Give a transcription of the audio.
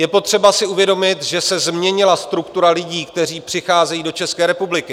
Je potřeba si uvědomit, že se změnila struktura lidí, kteří přicházejí do České republiky.